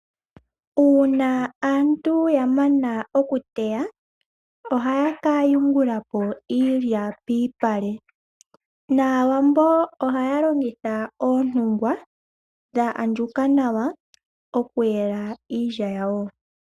Uuna aantu yamana oku teya , ohaya ka yungula po iilya piipale. Naawambo ohaya longitha oontungwa dha andjuka nawa okuyela iilya yawo.